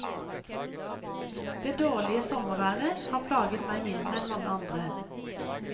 Det dårlige sommerværet har plaget meg mindre enn mange andre.